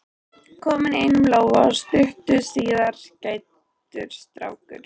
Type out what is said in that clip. komin í einum lófa og stuttu síðar grætur strákurinn.